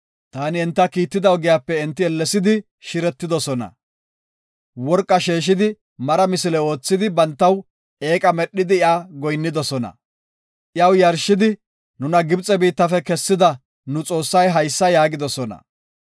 Taani enta kiitida ogiyape enti ellesidi shiretidosona. Worqa sheeshidi mara misile oothidi, bantaw eeqa medhidi iya goyinnidosona. Iyaw yarshidi, ‘Nuna Gibxe biittafe kessida nu xoossay haysa’ yaagidosona.